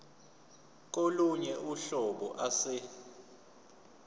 kolunye uhlobo ase